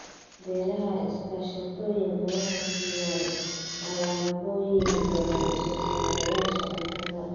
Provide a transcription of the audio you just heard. Beeraha iskaashatooyinka waxay siiyaan alaabooyin badan soosaarayaasha cuntada.